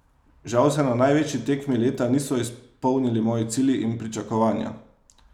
Žal se na največji tekmi leta niso izpolnili moji cilji in pričakovanja.